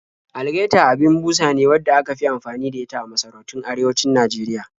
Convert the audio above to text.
Algaita abin busa ne wadda aka fi anfani da ita a masarautun arewacin Najeriya